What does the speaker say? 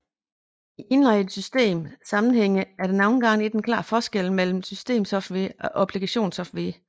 I indlejrede system sammenhænge er der nogle gange ikke en klar forskel mellem systemsoftware og applikationssoftware